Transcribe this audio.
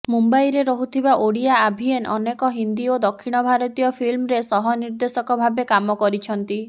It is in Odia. ମୁମ୍ବାଇରେ ରହୁଥିବା ଓଡ଼ିଆ ଆଭିଏନ୍ ଅନେକ ହିନ୍ଦୀ ଓ ଦକ୍ଷିଣ ଭାରତୀୟ ଫିଲ୍ମରେ ସହନିର୍ଦ୍ଦେଶକ ଭାବେ କାମ କରିଛନ୍ତି